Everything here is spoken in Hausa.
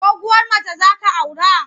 Doguwar mace za ka aura?